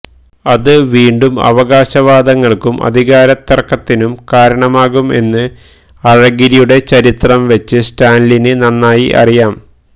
അത് വീണ്ടും അവകാശവാദങ്ങള്ക്കും അധികാരത്തിര്ക്കത്തിനും കാരണമാകും എന്ന് അഴഗിരിയുടെ ചരിത്രം വച്ച് സ്റ്റാലിന് നന്നായറിയാം